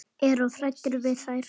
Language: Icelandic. Er of hræddur við þær.